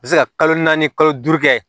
bɛ se ka kalo naani kalo duuru kɛ